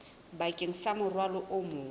bakeng sa morwalo o mong